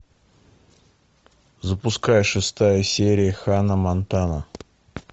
запускай шестая серия ханна монтана